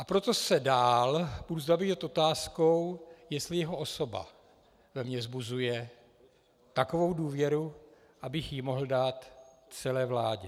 A proto se dál budu zabývat otázkou, jestli jeho osoba ve mně vzbuzuje takovou důvěru, abych ji mohl dát celé vládě.